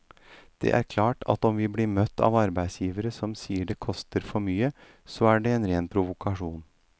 Og det er klart at om vi blir møtt av arbeidsgivere som sier det koster for mye, så er det en ren provokasjon.